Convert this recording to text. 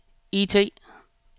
IT